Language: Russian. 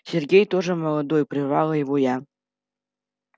сергей тоже молодой прервала его я